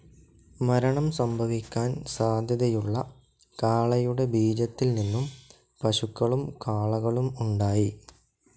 മരണം സംഭവിക്കാൻ സാധ്യതയുള്ള കാളയുടെ ബീജത്തിൽ നിന്നും പശുക്കളും കാളകളും ഉണ്ടായി.